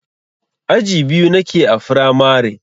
Aji biyu nake a firamare.